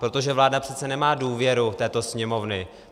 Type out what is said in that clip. Protože vláda přece nemá důvěru této Sněmovny.